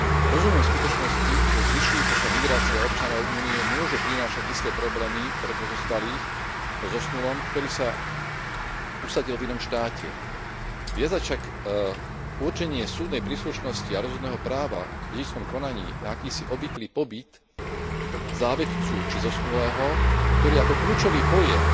Rozumiem skutočnosti, že zvyšujúca sa migrácia občanov Únie môže prinášať isté problémy pre pozostalých po zosnulom, ktorý sa usadil v inom štáte. Viazať však určenie súdnej príslušnosti a rozhodného práva v dedičskom konaní na akýsi obvyklý pobyt závetcu či zosnulého, ktorý ako kľúčový pojem